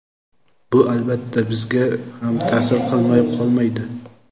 Bu albatta bizga ham ta’sir qilmay qolmaydi.